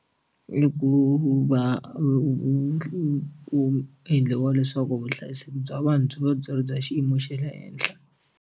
I ku va ku endliwa leswaku vuhlayiseki bya vanhu byi va byi ri bya xiyimo xe le henhla.